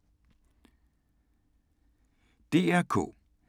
DR K